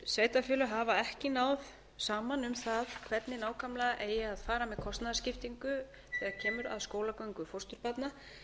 sveitarfélög hafa ekki náð saman um það hvernig nákvæmlega eigi að fara með kostnaðarskiptingu þegar kemur að skólagöngu fósturbarna